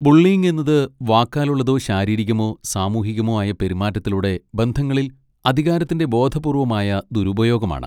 Bullying എന്നത് വാക്കാലുള്ളതോ ശാരീരികമോ സാമൂഹികമോ ആയ പെരുമാറ്റത്തിലൂടെ ബന്ധങ്ങളിൽ അധികാരത്തിന്റെ ബോധപൂർവ്വമായ ദുരുപയോഗമാണ്.